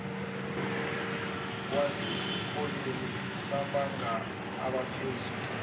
wasesikoleni samabanga aphezulu